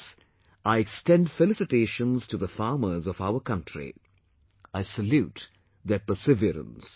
For this I extend felicitations to the farmers of our country...I salute their perseverance